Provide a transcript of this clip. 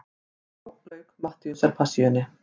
Og þá lauk Mattheusarpassíunni.